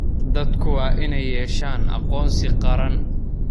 Dadku waa inay yeeshaan aqoonsi qaran.